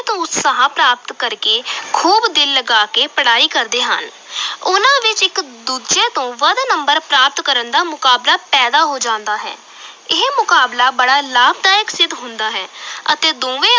ਤੋਂ ਉਤਸ਼ਾਹ ਪ੍ਰਾਪਤ ਕਰ ਕੇ ਖੂਬ ਦਿਲ ਲਗਾ ਕੇ ਪੜ੍ਹਾਈ ਕਰਦੇ ਹਨ ਉਨਾਂ ਵਿਚ ਇਕ ਦੂਜੇ ਤੋਂ ਵੱਧ ਕੇ number ਪ੍ਰਾਪਤ ਕਰਨ ਦਾ ਮੁਕਾਬਲਾ ਪੈਦਾ ਹੋ ਜਾਂਦਾ ਹੈ ਇਹ ਮੁਕਾਬਲਾ ਬੜਾ ਲਾਭਦਾਇਕ ਸਿੱਧ ਹੁੰਦਾ ਹੈ ਅਤੇ ਦੋਵੇਂ